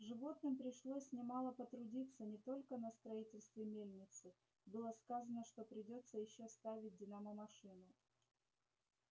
животным пришлось немало потрудиться не только на строительстве мельницы было сказано что придётся ещё ставить динамомашину